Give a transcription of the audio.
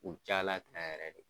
U cayala tan yɛrɛ de.